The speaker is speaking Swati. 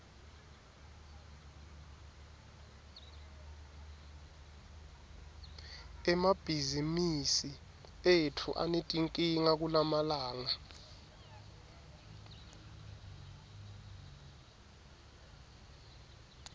emabhizimisi etfu anetinkinga kulamalanga